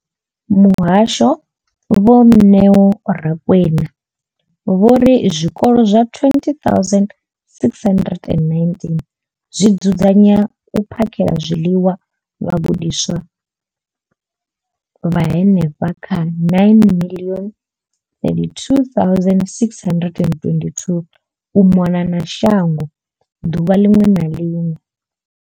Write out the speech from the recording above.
Muhasho, Vho Neo Rakwena, vho ri zwikolo zwa 20 619 zwi dzudzanya na u phakhela zwiḽiwa vhagudiswa vha henefha kha 9 032 622 u mona na shango ḓuvha ḽiṅwe na ḽiṅwe.